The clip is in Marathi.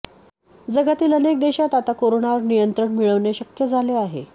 जगातील अनेक देशात आता कोरोनावर नियंत्रण मिळविणे शक्य झाले आहे